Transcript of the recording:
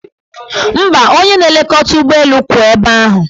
Mba, onye na-elekọta ụgbọelu kwụ ebe ahụ.